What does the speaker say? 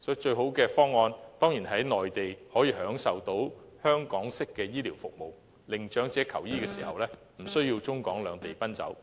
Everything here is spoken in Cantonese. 所以最好的方案，當然是在內地享用香港式的醫療服務，令長者求醫時，不需要中港兩地奔走。